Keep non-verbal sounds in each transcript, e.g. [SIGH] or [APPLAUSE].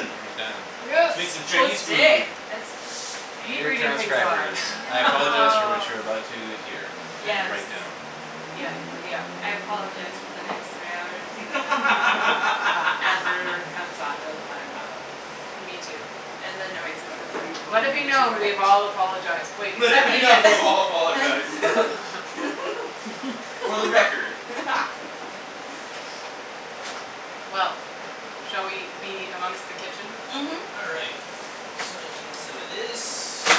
And we're done. Yes! Making Chinese food. [INAUDIBLE] That's I hate Dear reading things transcribers aloud. [LAUGHS] I apologize for what you are about to hear and Yes. write down. Yep. Yep. I apologize for the next three hours of [LAUGHS] whatever comes out of my mouth. Me too. And the noises of food Let going it be into known. We it. have all apologized. Wait, Let except it be known. Ian! We've all apologized! For the record. Well. Shall we be amongst the kitchen? Mhm. All right, so I need some of this.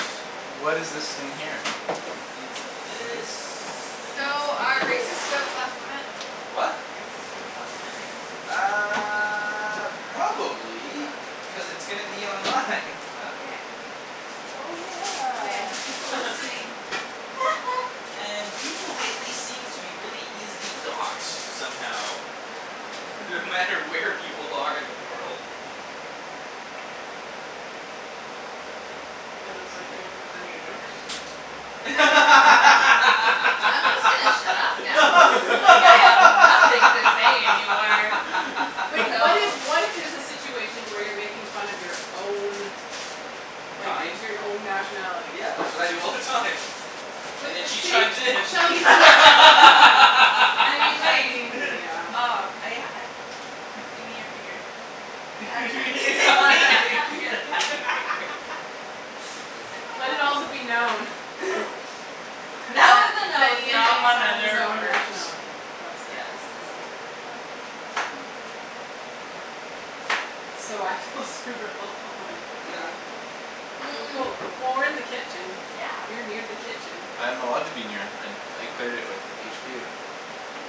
What is this thing here? Need some of this, I need So, some of are racist this. jokes off limit? The what? Racist jokes off limit right now? Uh Probably, Okay. cuz it's gonna be online. Okay. Oh Oh yeah, yeah! there's people [LAUGHS] listening. [LAUGHS] And people lately seem to be really easily doxed somehow. [LAUGHS] No matter where people are in the world. Yeah. Hey, that's like fifty percent of your jokes. I'm just gonna shut up now. Like, I have nothing to say any more. Wait, what if, what if [LAUGHS] there's a situation where you're making fun of your own like, Kind? your n- own nationality? Yeah, that's what I do all the time. [INAUDIBLE] And then she use chimes this. in. [LAUGHS] I mean, I wait. mean, yeah. oh. I I, give me your finger. [LAUGHS] [INAUDIBLE] Just pick my Let it also nose. be known [LAUGHS] That That, was a that nose, Ian makes not fun of his another own part. nationality. Yes. Oh my [INAUDIBLE] word. [INAUDIBLE] So, I feel super helpful right now. [LAUGHS] [NOISE] Cool, cool. Well, we're in the kitchen, Yeah. you're near the kitchen. I am allowed to be near, I, I cleared it with HQ.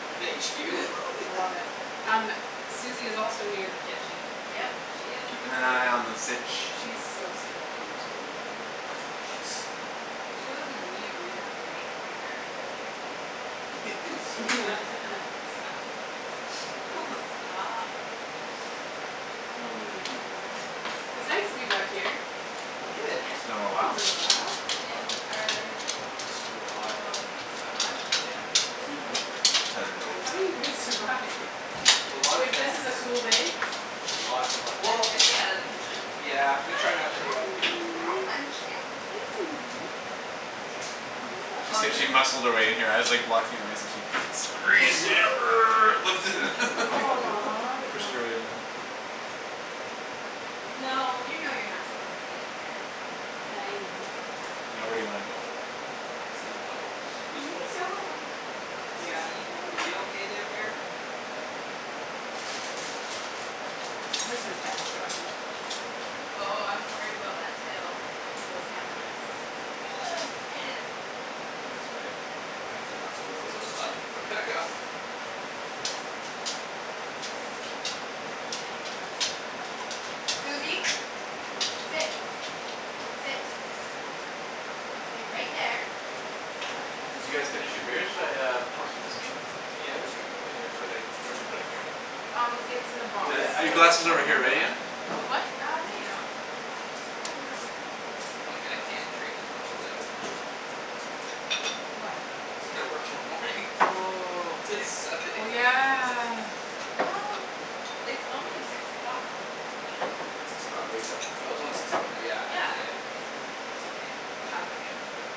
With [LAUGHS] HQ. I love it. Um, Suzie is also near the kitchen. Yep, she is a Keepin' an part of this. eye on the sitch. She is so stinkin' cute today. Oh she's If [INAUDIBLE] she wasn't a mute, we would have to make, mic her. Yes! [INAUDIBLE] [LAUGHS] [LAUGHS] Oh stop! [NOISE] Oh Hmm. man. It's nice to be back here. Yeah. Yeah. It's been a It's been while. a little while. Been a little while. In our Super hot. little sweat lodge. Yeah, no doubt. Hello. How do you guys survive? With a lot of If this is a fans. cool day? Lots and lot- well I stay out of the kitchen. Yeah, we try not to cook in the kitchen. Hi, munchkin! Hey, Suzie! She escaped, she muscled her way in here, I was like, blocking her way, so she squeezed in err, lifted [LAUGHS] Aw pushed her way [NOISE] in. No, you know you're not supposed to be in here. Hi. Now, where do you wanna go? It doesn't know. You [LAUGHS] know. [INAUDIBLE] [LAUGHS] Suzie? You okay there, bear? Give her some pets, Joshy. Oh, I'm worried about that tail and those cameras. [NOISE] I didn't think about that. That's all right. It will be fine. If it knocks it over, well just, like, put it back up! But we can't [INAUDIBLE] Suzie! [NOISE] Sit! Sit! You're gonna stay right there. What? You get to Did you stay guys on the finish your kitchen? beers? Shall I uh [INAUDIBLE] pour some whiskey? Yeah, whiskey would be good Where'd actually. I, where'd you put it, Kara? Um, it's in the Oh box. And, yeah, I your gotta glass work is tomorrow over here, morning, right, don't Ian? I? What, what? Uh, no, you don't. Damn. Just pretend you don't. [LAUGHS] Like, I can't drink as much as I would, would like to. Why? Cuz I gotta work tomorrow morning. [LAUGHS] Oh, It's like oh Sunday. yeah. Well it's only six o'clock. Ian. Six o'clock wake-up? Oh it's only six o'clock now. Yeah. Yeah, Yeah, y- yeah. you're okay, to have a few. Yep.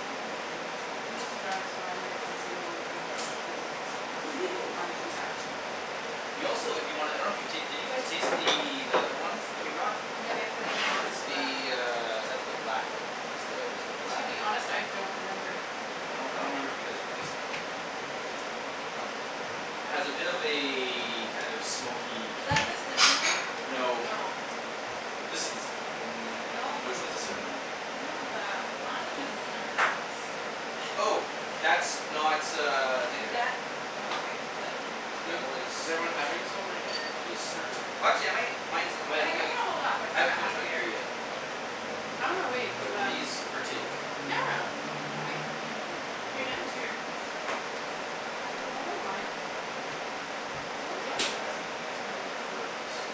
Oh you. He has to drive so I'm gonna consume all of what Josh doesn't. Fo- on [LAUGHS] his behalf. We also, if you wanna, I don't know if you ta- you guys taste the, that other one that we brought? Yeah, we have the other one as It's well. the uh that's the black one. That's the Nikka To Black. be honest, I don't remember. I don't, I don't remember if you guys tasted that one. I don't know. That one's, has a bit of a kind of smoky, Is peaty- that the cinnamon one? No. No. This is the ci- , mm, No. which one's the cinnamon one? Someone has a, one of them has a cinnamon [INAUDIBLE] Oh! That's not uh Nikka. Oh okay, what's that then? That Who, was is everyone something having else. some right now? Yes, sir. Watch it, mate! Mine's the [INAUDIBLE] I I think I'm going to hold off, I still haven't got half finished a my beer beer. yet. K. I'm gonna wait for But them. please, partake. No, no, no, don't wait. If you're done your beer, just Have it if you I don't want. mind. Who Hi is there. that? That's me, that's my alarm for this.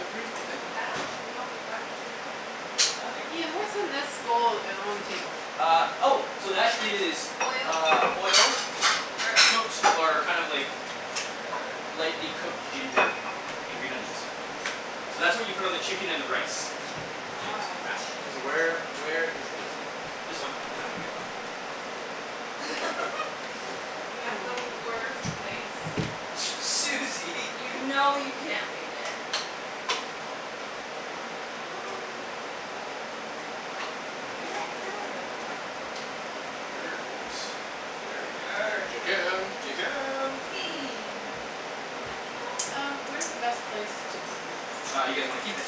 Everything. I don't know what to help Nothing. with. Ian, what's in this bowl uh on the table? Ah, oh! So that is Oil. uh oil, Er cooked or kind of like lightly cooked ginger, and green onions. So that's what you put on the chicken and the rice. Yeah, it's fantastic. Wow. K, so where, where is the whiskey? This one is the one you guys bought. [LAUGHS] You have the worst place. Aw. [NOISE] Suzie! You know you can't lay there. No! I like it. I'm right in the middle of everyone! Perfect. Yeah. There we are. Chicken! Chicken! Chicken! Atika Um, where is the best place to put this? Uh, you guys wanna keep it?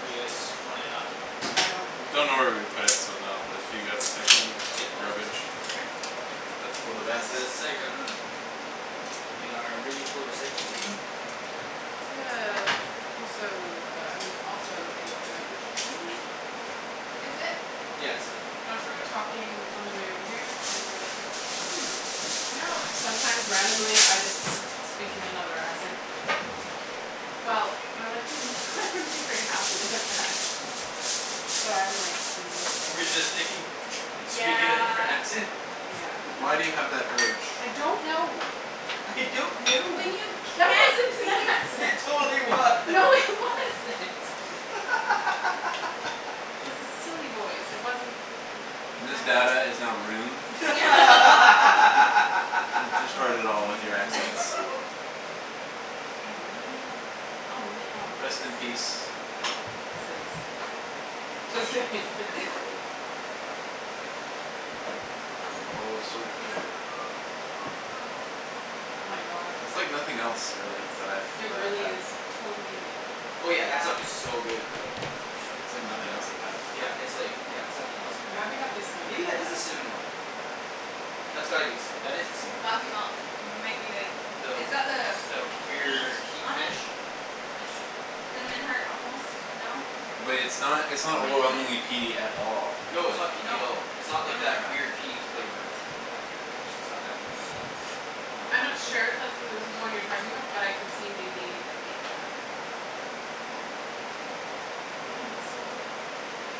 Or you guys wanna, not keep it? I don't care? Don't know where we would put it, so no. If you got recycling or garbage? Sure. It's for the best. reh-cycle. In our really full recycle bin. Do you No one have has to know. also uh I mean, also a garbage bin? Is it? Yeah, it's taken out. Josh and I were talking on our way over here, and were like, "Hmm, you know how sometimes randomly, I just speak in another accent?" Well, we were like, "Hmm, they wouldn't be very happy with that." So I'm, like, resisting. Resisting? Speaking in a different Yeah. accent? Yeah. Why do you have that urge? I don't know! I don't know! When you That can't wasn't be an It accent! [LAUGHS] yourself! totally No, it was! [LAUGHS] wasn't! [LAUGHS] [LAUGHS] It was a silly voice. It wasn't an This accent. data is now ruined. [LAUGHS] [LAUGHS] [LAUGHS] You destroyed it Aw, all with your accents. man! [LAUGHS] Aw, man! Oh ma- oh Rest in thanks. peace. Chiz. Just kidding! [LAUGHS] [LAUGHS] Oh, so good. Oh [NOISE] my gosh. That's like nothing else, really, that I've, It that I've really had. is totally unique. Oh yeah, that stuff Yeah. is so good It's though. awesome. It's like nothing else I've had. Yeah, it's like, yeah, it's nothing else like I'm I've glad we had got this too. one, and Maybe not that the is the other cinnamon one. one? That's gotta be the cinna- , that is the cinnamon Coffey one. Malt, might be like, it's got the The, the weird key beak on it? finish? Cinnamon heart almost. No? Wait, it's not, it's not Maybe. overwhelmingly peaty at all. No, it's not peaty at No. all. It's No, not like no, that weird, no. peaty flavor. Not weird, but just it's not that peaty, kinda I'm like- not sure if that's the, this is the one you're talking about, but I could see maybe it being that. Hey, it's so good.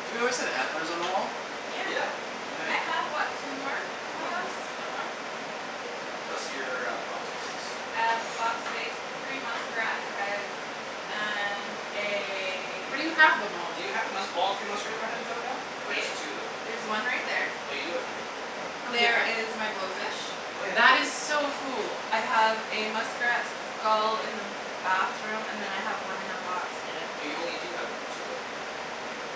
Have you always had antlers on the wall? Yeah. Yeah. I have what, two more? In my One house? more. One more? Yep, one more. Plus your uh fox face. I have a fox face, three muskrat heads and Where do a- you have them all? Do you have the musk- all three muskrat uh heads out now? Or just two of them? There's one right there. Oh, you do have three of them out. Oh There yeah? is my blowfish. Oh yeah, and That is blowfish. so cool. I have a muskrat skull in the bathroom, and then I have one in a box, hidden. Oh, you only do have two out of the three. Yeah.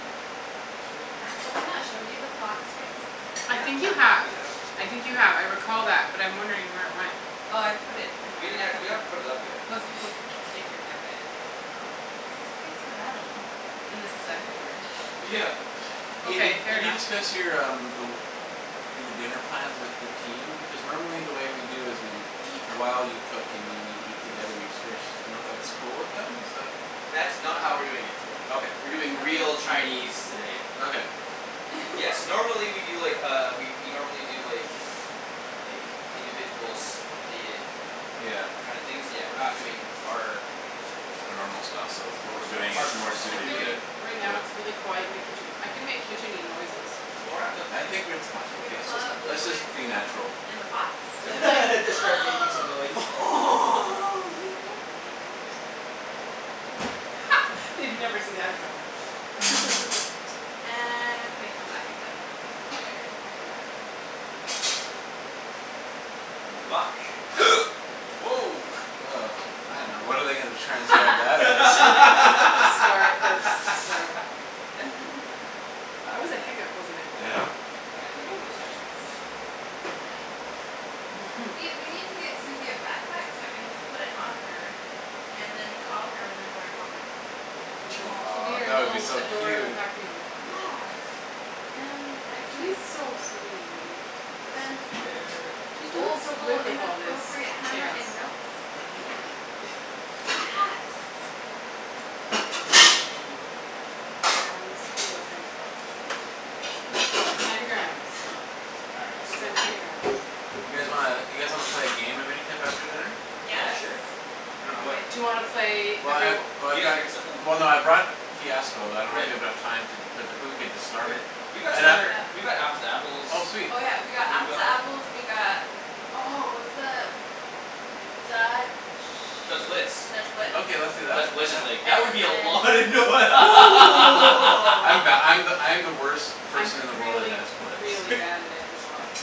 [INAUDIBLE] thought Have, you have I had all not, shown three you out. the fox face? I think you Yeah, have, you have. I think you have. I recall that but I'm wondering where it went. Oh, I put it in my We didn't ha- , we haven't put it up yet, [INAUDIBLE] I most don't people think. creep, get creeped out by it. Oh, its a face of an animal. And this is Vancouver. Yeah. Ian, did, Okay, fair did you enough. discuss your um the, your dinner plans with the team? Because normally the way we do is we eat while you cook and you, we eat together each dish. D'you know if that's cool with them? Is that That's not how we're doing it today. Okay. We're doing Oh real Chinese ooh. today. Okay. Yes, [LAUGHS] normally we do, like, uh we we normally do, like, like, individuals, plated Yeah. kind of things, but we're not doing our particular A type of normal style, so normal what're style, doing is our normal more style, I we're suited feel to, like, doing- right now, with- it's really quiet in the kitchen. I can make kitchen-y noises. Well, we're not cooking I yet. think we're, it's fine. Should we Let's pull just, out the let's just wooden be spoon natural. that's in the pots? [LAUGHS] We Except could for- like Just start making some noise. [NOISE] oh, we could make a drum band. [LAUGHS] They'd never see that coming. [LAUGHS] And, they come back in ten minutes, and we're fired. Yeah, right. Yeah. Vuck. [NOISE] Woah! Oh man, now what are they gonna transcribe that as? [LAUGHS] Start, burps, slur. [LAUGHS] [LAUGHS] That was a hiccup, wasn't it? Yeah. I'm gonna give you Ooh this just in that's- case. Yeah. Mhm. See, [LAUGHS] we need to get Suzie a backpack so I can just put it on her and then call her whenever I want my phone. She's like, she'll be Aw, your that would be little so adorable cute. pack mule. Yeah! And I She's can- so sweet. Then- Susie bear. She's doing Old so school good with all this inappropriate hammer chaos. and notes to Ian. Yes! [LAUGHS] Mm. Nana. Grams? What are those things called? What are those called? Candy grams. All right, We so- canned candy grams. You guys wanna, you guys wanna play a game of any type after dinner? Yeah, Yes! sure. I dunno, what- Do you wanna play Well I've, every- Did oh I've you guys got, bring somethin'? well no, I brought Fiasco but I don't know if we Great. have enough time to put the, but we could just start. Great. We've got some And I other, we've got Apples to Oh Apples, we've sweet. Oh yeah, we got Apples To got Apples, we got, oh what's the Dutch, Dutch Blitz. Dutch Blitz? Okay, let's do that, Dutch Blitz is yeah. like, that would be a lot of And noi- then I'm [LAUGHS] the, [LAUGHS] I'm the, I'm the worst I'm person in the world at really Dutch Blitz really bad at it as well.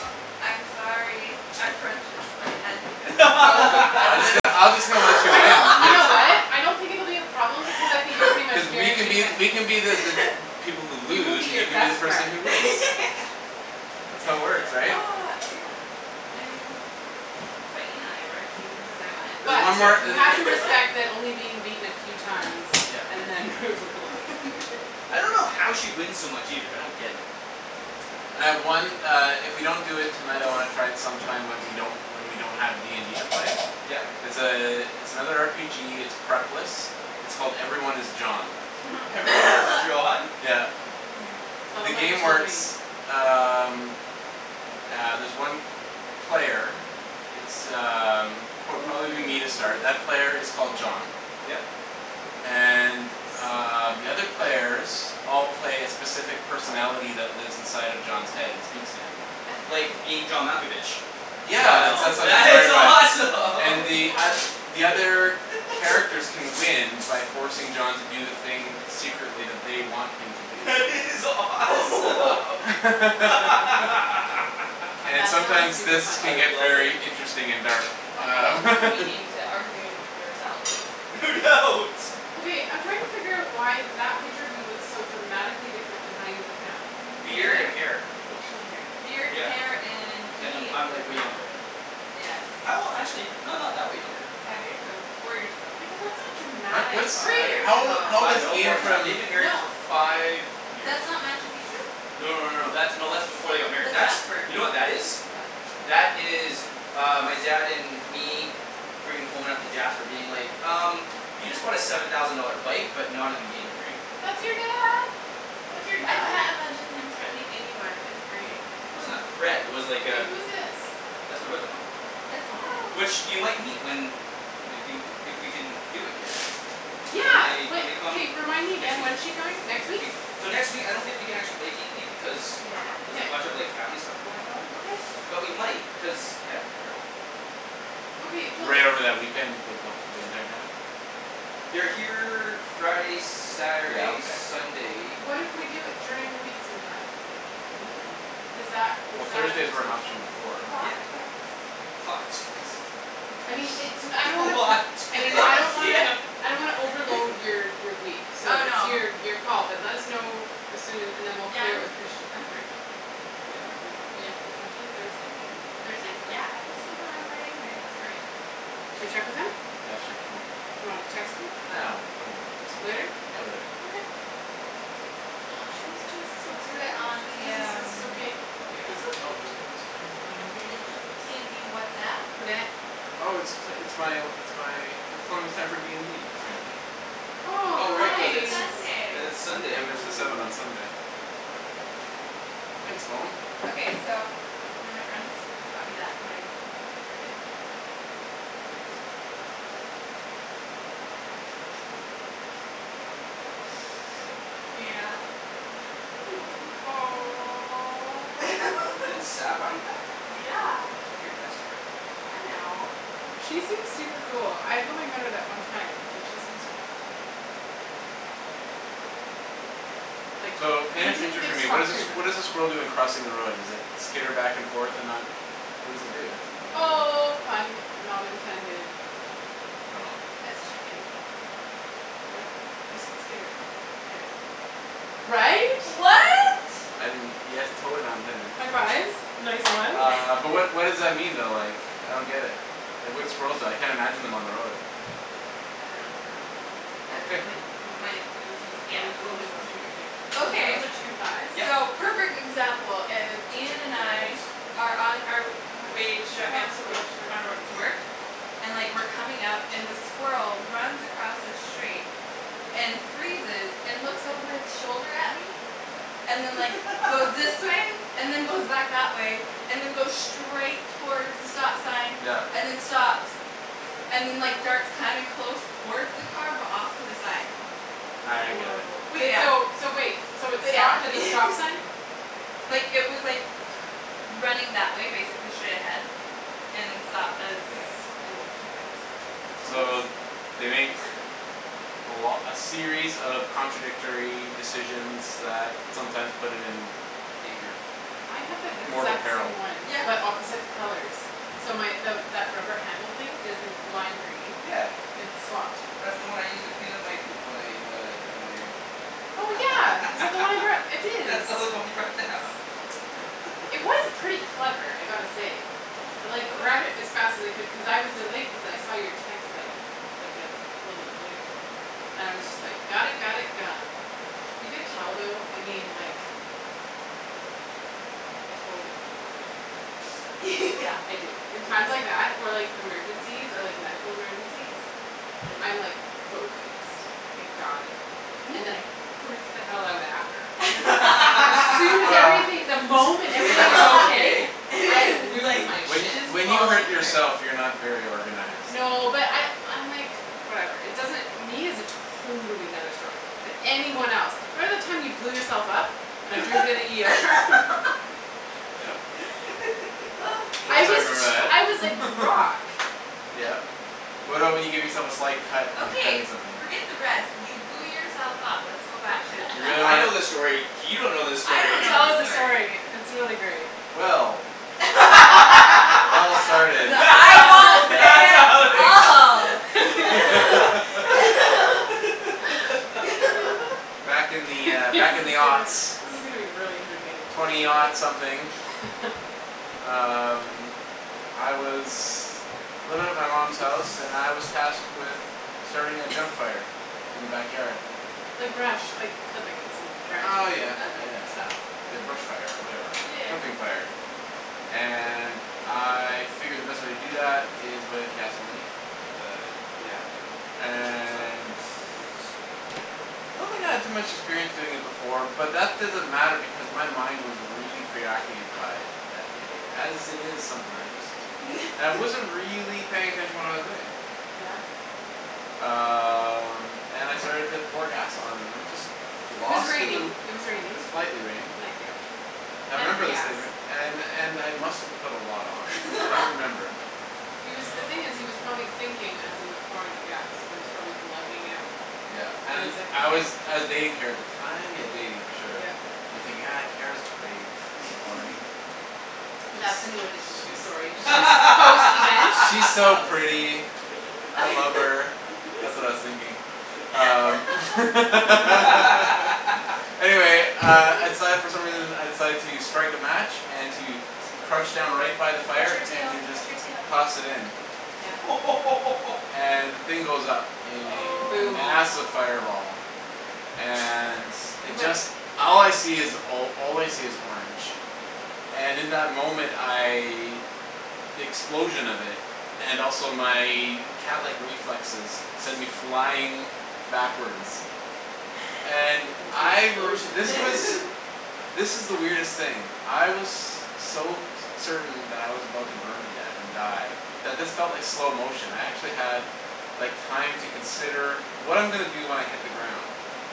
I'm sorry, our friendships might end because I'm so I'm just gonna, competitive. I'm just gonna let you I win, know! You cuz know [LAUGHS] what? I don't think it will be a problem because I think you're pretty cuz much we can guaranteed be, wins. we can be the, the [LAUGHS] people who lose, and you can be the person who wins. [LAUGHS] That's how it works, right? Ah, yeah. I mean that's why Ian and I work, he loses, I win There's But, one more you have uh to respect [LAUGHS] that only being beaten a few times Yep. and then. [INAUDIBLE] I don't know how she wins so much either. I don't get it. And I have one uh if we don't do it tonight I wanna try it sometime when we don't, when we don't have D and D to play. Yep. It's a, it's another R P G, it's prep-less, its called 'Everyone Is John.' 'Everyone Is [LAUGHS] John'? Yeah. Tell The them Yes. what you game told works me. um ah there's one player, it's um pro- Ooh, probably will be me to start, that player is called yeah. John. Yep. And um, the other Smart. players all play a specific personality that lives inside of John's head and speaks to him. I love it. Like 'Being John Malkovich.' Yeah, Wow, I that's what it's that like is inspired by. it. And the Yes. oth- awesome! the other characters can win by forcing John to do the thing secretly that they want him to [LAUGHS] do. That is awesome! [LAUGHS] [LAUGHS] And That sounds sometimes, super this funny. can I get love it! very interesting and dark. A whole Um. new [LAUGHS] meaning to arguing with yourself. No doubt! Okay, I'm trying to figure out why that picture of you looks so dramatically different than how you look now. Beard and hair. Facial hair. Beard, hair Yeah, and and he- I'm, I'm like way younger there. Yes. How, actually h- no, not that way younger. Five years ago. Four years ago. Yeah, but that's not dramatic. Three Five, years How old i- ago, how old five, is cuz no, we more Ian were- than that. from They've been married No for five years. That's not Machu Picchu? No, no, no, no. That's, no, that's before they got married. That's That's, Jasper. you know what that is? What? That is uh my dad and me bringing home [INAUDIBLE] Jasper being like, "Um, you just bought a seven thousand dollar bike, but not an engagement ring." That's your dad! That's your I dad? can't imagine him threatening anyone. It's great. Wasn't a threat, it was like Wait, a- who's this? That's my brother-in-law. That's. [INAUDIBLE] Which, you might meet when they, they wou, if we can do it here. When Yeah! they, when they come Remind me next again. week. When's she coming? Next [INAUDIBLE] week? So next week, I don't think we can actually play D and D because Yeah. there's K. a bunch of like family stuff going on. Okay. But we might, cuz, yeah, I dunno. Okay, we'll Right over that weekend, like the wh- the entire time? They're here Friday, Yeah, Saturday, okay. Sunday. What if we do it during the week sometime? Oh. Does that, is Well, that a Thursday's were an potential? option before, right? Plot twist. Plot twist. I mean, it's no- , I don't wanna put, Plot I twist! mean, I don't Yeah! wanna, I don't wanna overload [LAUGHS] your your week. So, Oh it's no. your, your call but let us know as soon a- and then we'll Yeah, clear it I'm, with Christian. I'm free. Yeah, I'm free. Yeah. Potentially Thursday, maybe? Thursday? Yeah! I get to sleep in on Friday anyway. That's great. Should we check with him? Yeah, let's check with him. Do you wanna text him? Ah, when, when, at some point. Later? Yeah, later. Okay. She's just [NOISE] We so could do it on precious! Does the this, is this um okay? Oh yeah. It's okay. Oh! Someone's calling me. the D and D WhatsApp? Who dat? Oh it's t- it's my, it's my, it's telling me it's time for D and D, apparently Oh, Oh how right, Oh, cuz it's, nice! cuz it's it's Sunday. Ten Sunday. minutes til seven on Sunday. Thanks, phone! Okay, so, one of my friends bought me that for my birthday. [NOISE] Yeah. She knows me pretty well. Didn't [LAUGHS] Aw. Sab buy you that? Yeah! That's one of your best friends, love. I know. She seems super cool. I've only met her that one time, but she seems really cool. Oh yeah? Like, So, paint a we didn't picture for get me. to What talk is a s- very much. what is a squirrel doing crossing the road? Does it skitter back and forth and not, what does it do? Oh, pun not intended. Oh. It's chicken. What? He said skitter. [INAUDIBLE] right? Right? I didn't, yes totally not intended. High fives. Nice ones. Uh but what what [INAUDIBLE] does that mean though like, I don't get it, like what do squirrels do, I can't imagine on them on the road. I don't I don't know. okay Uh like [LAUGHS] my it was just I'm yeah totally watching what you're [NOISE] doing. So Okay, those are chicken thighs? Yep. so perfect example is So Ian chicken and I thighs. are on our Gosh, way it to sure drop me off helps to if wo- you have sharp on wo- knives. to work. And like we're coming up and the squirrel runs across the street and freezes and looks over its shoulder at me, and then like goes [LAUGHS] this way, and then goes back that way and then goes straight towards the stop sign Yeah. and then stops and then like darts kinda close towards the car but off to the side. Ah I get it. Wow. So Wait yeah. so, so wait, so it So yeah stopped that's at the me [LAUGHS] stop sign? Like it was like, running that way basically straight ahead and then stopped as Yeah. and like came back this way. So So that's they make interesting. a lo- a series of contradictory decisions that sometimes put it in Danger. I have So that yeah. mortal exact peril. same one Yeah. but opposite colors. So my the that rubber handle thing is the lime green, Yeah. it That's the one I [INAUDIBLE] used to clean up my puke when I uh had a migraine. [LAUGHS] Oh yeah, is that the one I brought, it is. That's the only one you brought down. It was pretty clever, I gotta say. [LAUGHS] I like grabbed it as [INAUDIBLE] fast as I could cuz I was delayed cuz I saw your text like like a little bit later and I was just like got it, got it, gone. You can Thanks for tell that, I though, I appreciate it. mean like, I totally have a mom brain. [LAUGHS] Yeah. I do. In times like that, or like emergencies, or like medical emergencies, I'm like focused, I got it. And then I [NOISE] freak the hell out after. As soon as Well everything, [LAUGHS] the [LAUGHS] If moment if everything is everything is okay, okay. I [LAUGHS] [INAUDIBLE] lose like my When shit. just when you follow hurt [INAUDIBLE] yourself you're not very organized. No but I I'm like, whatever, it doesn't, me is a totally another story, but anyone else. Remember the time you blew yourself up, and I Yeah drove you to the ER? [LAUGHS] [LAUGHS] Yep. [LAUGHS] Of I course I was Okay. remember [NOISE] that. I was like [LAUGHS] rock. Yeah. What about when you give yourself a slight cut when you're cutting Okay, something? forget the rest. You blew yourself up. Let's go back to You that. really Yeah, [LAUGHS] I wanna know this story, you don't know this I story. don't Tell know this us the story. story, it's really [LAUGHS] great. Well It all [LAUGHS] started The eyeballs say it [LAUGHS] all. [LAUGHS] [LAUGHS] [INAUDIBLE] [LAUGHS] Back in [LAUGHS] the, uh, This back in is the gonna [INAUDIBLE] this is gonna be really entertaining [INAUDIBLE] Twenty [INAUDIBLE] something. people. Um I was [NOISE] living at my mom's house and I was [NOISE] tasked with starting a junk [NOISE] fire [NOISE] in the backyard. Like brush, like clippings and branches Oh and [INAUDIBLE] yeah, yeah Okay. yeah and yeah. stuff. The brush fire or whatever, Yeah yeah. clipping fire. And I figured the best way to do It that smells is with amazing. gasoline. With the, Yeah. yeah the with the chicken stuff? And Yeah, Mm. so good. I don't think I had too much experience doing it before but that doesn't matter because my mind was really preoccupied that day, as it is sometimes. And I wasn't [LAUGHS] really paying attention to what I was doing. Yeah. Um and I started to pour gas on and I'm just It was lost in the raining, it was It was raining. lightly raining. Light yep. I Hence the remember this gas. day [INAUDIBLE] and and I must've put a lot on, I don't remember. [LAUGHS] He was the thing is [NOISE] he was probably thinking as he was pouring the gas and it was probably glugging out Yeah and and he's like, I "okay." was I was dating Kara at the time, yeah dating for sure. Yep. And I'm thinking, ah Kara's great [INAUDIBLE] [NOISE] [LAUGHS] That's a new addition She's to she's this story. [INAUDIBLE] she's post event? She's so Post event. pretty. I love her, that's what I was thinking. Um [LAUGHS] [LAUGHS] [LAUGHS] [LAUGHS] Anyway uh I [INAUDIBLE] decided for some reason I [LAUGHS] decided to strike a match and to crouch down right by the Watch fire your and tail, to just watch your tail. toss it in. Yeah. [LAUGHS] And the thing goes up in a Aw. Boom. massive Oh fireball. my And gosh. You it went just, all I flying. see is all I see is orange. And in that moment I, the explosion of it, and also my catlike reflexes send me flying backwards. And [NOISE] [INAUDIBLE] the I r- this explosion was, [LAUGHS] [LAUGHS] this is the weirdest thing. I was so certain that I was about to burn to death and die that this felt like slow motion. I actually had like time to consider what I'm gonna do when I hit the ground.